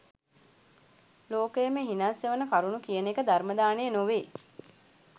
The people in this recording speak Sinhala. ලෝකයම හිනස්සවන කරුණු කියන එක ධර්ම දානය නොවේ.